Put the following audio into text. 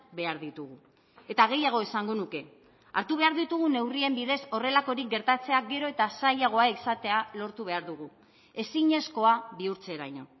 behar ditugu eta gehiago esango nuke hartu behar ditugun neurrien bidez horrelakorik gertatzea gero eta zailagoa izatea lortu behar dugu ezinezkoa bihurtzeraino